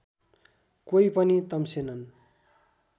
कोही पनि तम्सेनन्